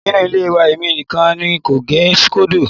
Nínú ilé wa èmi nìkan n kò gẹ síkódò.